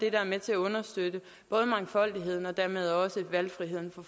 er med til at understøtte mangfoldigheden og dermed også valgfriheden for